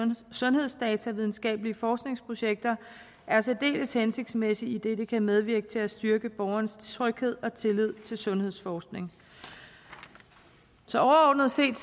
sundhedsdata i videnskabelige forskningsprojekter er særdeles hensigtsmæssigt idet det kan medvirke til at styrke borgernes tryghed og tillid til sundhedsforskning så overordnet set